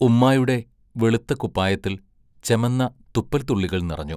ഉമ്മായുടെ വെളുത്ത കുപ്പായത്തിൽ ചെമന്ന തുപ്പൽ തുള്ളികൾ നിറഞ്ഞു.